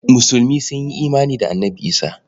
Musulmi sun yi imani da Annabi Isah.